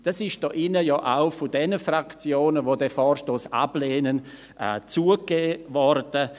Das ist hier drin ja auch von denjenigen Fraktionen, die den Vorstoss ablehnen, zugegeben worden.